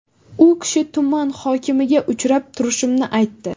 U kishi tuman hokimiga uchrab turishimni aytdi.